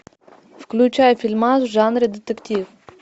включай фильмас в жанре детектив